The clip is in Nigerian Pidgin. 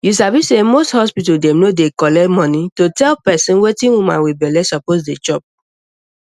u sabi say most hospital dem no dey collect money to tell person wetin woman wit belle suppose dey chop